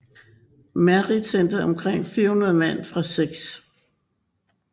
Merritt sendte omkring 400 mand fra 6